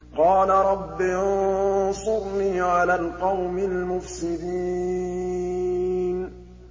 قَالَ رَبِّ انصُرْنِي عَلَى الْقَوْمِ الْمُفْسِدِينَ